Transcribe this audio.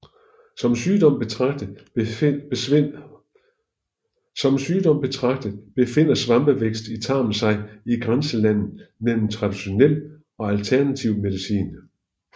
Som sygdom betragtet befinder svampeovervækst i tarmen sig i grænselandet mellem traditionel og alternativ medicin